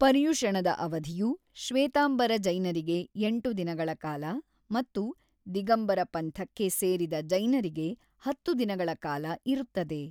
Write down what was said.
ಪರ್ಯುಷಣದ ಅವಧಿಯು ಶ್ವೇತಾಂಬರ ಜೈನರಿಗೆ ಎಂಟು ದಿನಗಳ ಕಾಲ ಮತ್ತು ದಿಗಂಬರ ಪಂಥಕ್ಕೆ ಸೇರಿದ ಜೈನರಿಗೆ ಹತ್ತು ದಿನಗಳ ಕಾಲ ಇರುತ್ತದೆ.